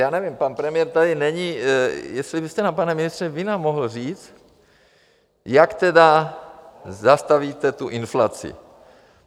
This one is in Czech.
Já nevím, pan premiér tady není, jestli byste nám, pane ministře, vy mohl říct, jak teda zastavíte tu inflaci.